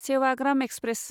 Sevagram express